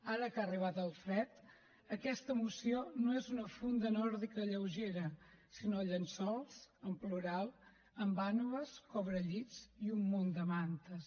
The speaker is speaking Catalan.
ara que ha arribat el fred aquesta moció no és una funda nòrdica lleugera sinó llençols en plural amb vànoves cobrellits i un munt de mantes